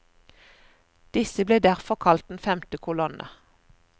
Disse ble derfor kalt den femte kolonne.